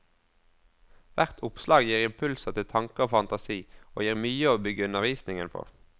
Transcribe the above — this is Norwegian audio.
Hvert oppslag gir impulser til tanke og fantasi, og gir mye å bygge undervisningen på.